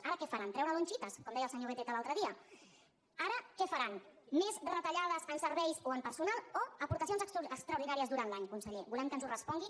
ara què faran treure lonchitas com deia el senyor beteta l’altre dia ara què faran més retallades en serveis o en personal o aportacions extraordinàries durant l’any conseller volem que ens ho respongui